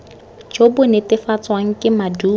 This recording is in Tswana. jo bo netefatswang ke maduo